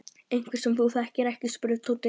Einhverjir sem þú þekkir ekki? spurði Tóti.